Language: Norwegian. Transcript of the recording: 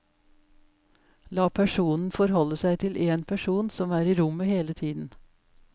La personen forholde seg til én person som er i rommet hele tiden.